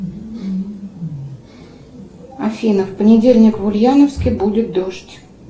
афина в понедельник в ульяновске будет дождь